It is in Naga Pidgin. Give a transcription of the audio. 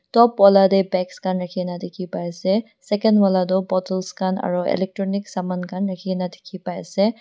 top wala tae bags rakhina dikhipaiase second wala toh bottles khan aro electronic saman khan rakhi kaena dikhipaiase.